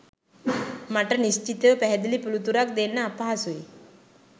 මට නිශ්චිතව පැහැදිලි පිළිතුරක් දෙන්න අපහසුයි